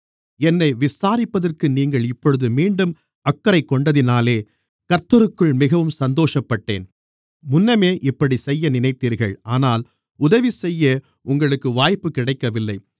என்னை விசாரிப்பதற்கு நீங்கள் இப்பொழுது மீண்டும் அக்கறை கொண்டதினாலே கர்த்தருக்குள் மிகவும் சந்தோஷப்பட்டேன் முன்னமே இப்படிச் செய்ய நினைத்தீர்கள் ஆனால் உதவிசெய்ய உங்களுக்கு வாய்ப்பு கிடைக்கவில்லை